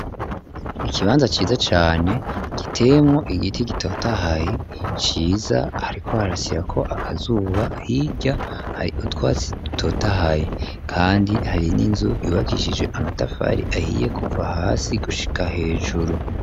Ikibanza ciza cane, giteyemwo igiti, gitotahaye, ciza, hariko harasirako akazuba; hirya, hari utwatsi dutotahaye, kandi hari n'inzu, yubakishije amatafari ahiye, kuva hasi, gushika hejuru.